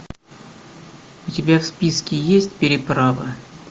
у тебя в списке есть переправа